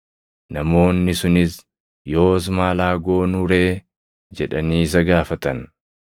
Namoonni sunis, “Yoos maal haa goonuu ree?” jedhanii isa gaafatan.